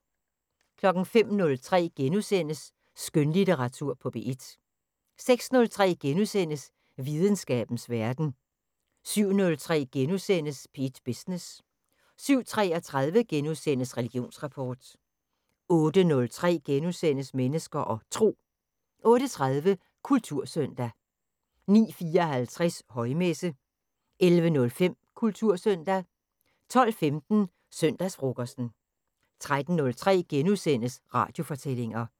05:03: Skønlitteratur på P1 * 06:03: Videnskabens Verden * 07:03: P1 Business * 07:33: Religionsrapport * 08:03: Mennesker og Tro * 08:30: Kultursøndag 09:54: Højmesse - 11:05: Kultursøndag 12:15: Søndagsfrokosten 13:03: Radiofortællinger *